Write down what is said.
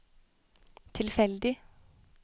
tilfeldig